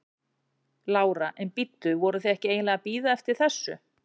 Lára: En bíddu, voruð þið ekki eiginlega að bíða eftir þessu?